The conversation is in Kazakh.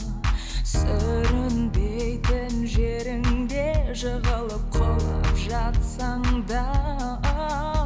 сүрінбейтін жеріңде жығылып құлап жатсаң да